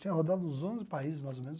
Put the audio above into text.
Tinha rodado uns onze países, mais ou menos.